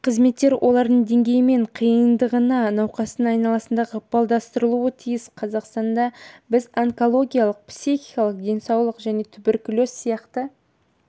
қызметтер олардың деңгейімен қиындығына науқастың айналасында ықпалдастырылуы тиіс қазақстанда біз онкология психикалық денсаулық жәнетуберкулез сияқты